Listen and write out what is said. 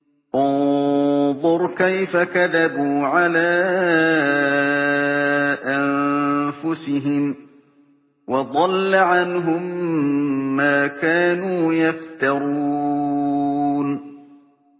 انظُرْ كَيْفَ كَذَبُوا عَلَىٰ أَنفُسِهِمْ ۚ وَضَلَّ عَنْهُم مَّا كَانُوا يَفْتَرُونَ